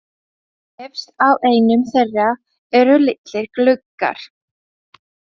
Efst á einum þeirra eru litlir gluggar.